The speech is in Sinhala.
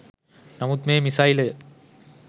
නමුත් මේ මිසයිලය